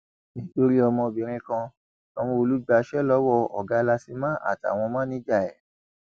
nítorí ọmọbìnrin kan sanwóolu gbaṣẹ lọwọ ọgá làsímà àtàwọn máníjà ẹ